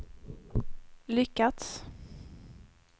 lyckats